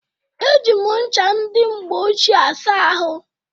Eji m ncha ndị mgbe ochie asa ahụ